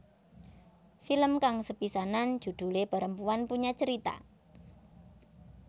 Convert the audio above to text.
Film kang sepisanan judhulé Perempuan Punya Cerita